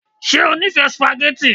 Ṣe o nifẹ sùpàgẹ́tì?